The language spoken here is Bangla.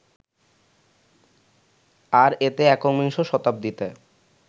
আর এতে একবিংশ শতাব্দীতে